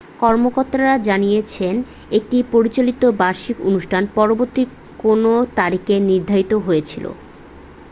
কর্মকর্তারা জানিয়েছেন একটি প্রচলিত বার্ষিক অনুষ্ঠান পরবর্তী কোনও তারিখে নির্ধারিত হয়েছিল